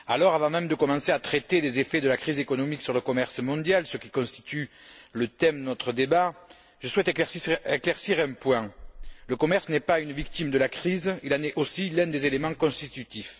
Avant même de commencer à traiter des effets de la crise économique sur le commerce mondial, ce qui constitue le thème de notre débat, je souhaite éclaircir un point le commerce n'est pas une victime de la crise, il en est aussi l'un des éléments constitutifs.